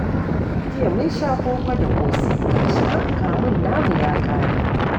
Jiya mun sha koko da ƙosai, ga shi ma kamun namu ya ƙare.